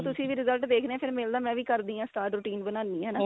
ਤੁਸੀਂ ਵੀ result ਦੇਖਦੇ ਆਂ ਫੇਰ ਮਿਲਦਾ ਮੈਂ ਵੀ ਕਰਦੀ ਆਂ start routine ਬਣਾਨੀ ਆ ਹਨਾ